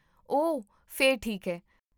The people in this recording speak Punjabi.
ਓਹ, ਫਿਰ ਠੀਕ ਹੈ